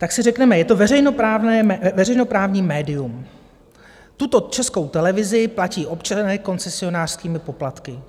Tak si řekněme, je to veřejnoprávní médium, tuto Českou televizi platí občané koncesionářskými poplatky.